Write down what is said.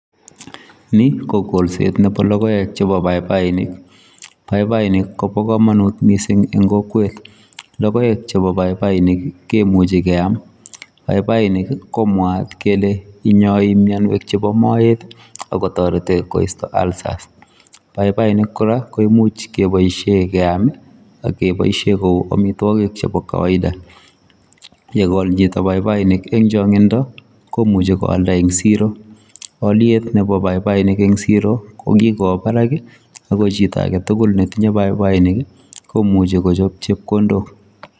Ni ko kolset nepo logoek chepo paipainik. Paipainik kopo komonut mising eng kokwet. Logoek chepo paipainik kemuchi keam. Paipainik ko mwaat kele inyoi mienwek chepo moet akotoreti koisto ulcers. Paipainik kora ko imuch keboisie keam akeboishe kou amitwokok chepo kawaida. Yekol chito paipainik eng chong'indo komuchi koalda eng siro. alyet nepo paipainik eng siro ko kikowo barak ako chito aketugul netinye paipainik komuchi kochop chepkondok.